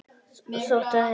Og þótt fyrr hefði verið.